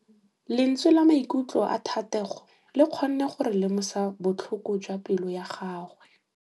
Lentswe la maikutlo a Thategô le kgonne gore re lemosa botlhoko jwa pelô ya gagwe.